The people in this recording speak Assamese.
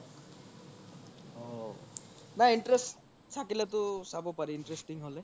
অহ নাই interest থাকিলে তো চাব পাৰি interesting হলে